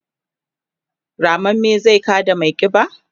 rammamme zai kada maiƙiba?